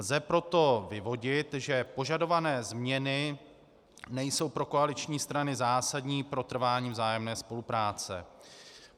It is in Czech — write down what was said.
Lze proto vyvodit, že požadované změny nejsou pro koaliční strany zásadní pro trvání vzájemné spolupráce.